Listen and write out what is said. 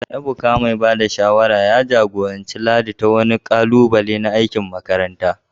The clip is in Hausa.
Ebuka, mai ba da shawara mai kwazo, ya jagoranci Ladi ta wani ƙalubale na aikin makaranta.